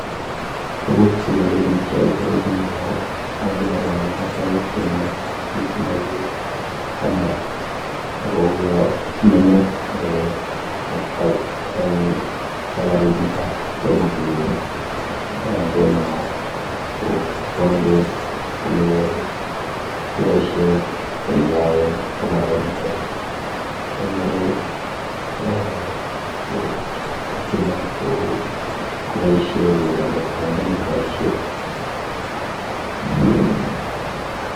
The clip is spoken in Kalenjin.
Tuguk chemile bich cheakere eng yu ko akere masaek chenome kit neu camera ako uyo nome eh eng safarit netai tomo kokere nguno kokwang'tos koke kiboishe kolya en camera initoni. Akere eh kotyeme koboishe koro nkot kongen koboishe.